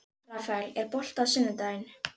Rafael, er bolti á sunnudaginn?